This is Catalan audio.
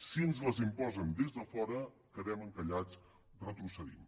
si ens les imposen des de fora quedem encallats retrocedim